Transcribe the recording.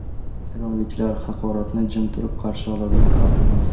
Eronliklar haqoratni jim turib qarshi oladigan xalq emas.